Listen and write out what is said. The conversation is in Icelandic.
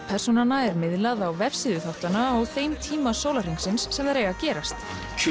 persónanna er miðlað á vefsíðu þáttanna á þeim tíma sólarhringsins sem þeir eiga að gerast